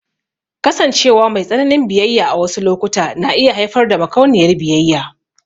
Kasancewa mai tsananin biyayya a wasu lokuta na iya haifar da makauniyar biyayya.